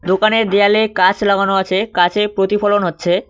দোকানের দেয়ালে কাচ লাগানো আছে কাচে প্রতিফলন হচ্ছে।